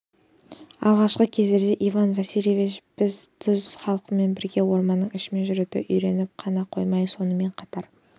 алғашқы кездерде иван васильевич біз түз халқымыз бізге орманның ішімен жүруді үйреніп қана қоймай сонымен қатар